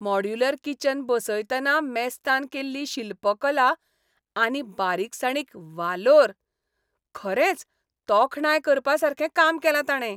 Modular kitchen बसयतना मेस्तान केल्ली शिल्पकला आनी बारिकसाणीक वालोर. खरेंच तोखणाय करपासारकें काम केलां ताणे.